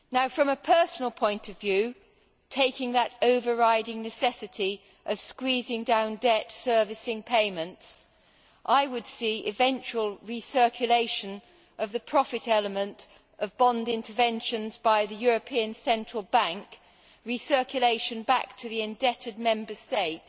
From a personal point of view, taking that overriding necessity of squeezing down debt servicing payments, I would see eventual recirculation of the profit element of bond interventions by the European Central Bank back to the indebted Member State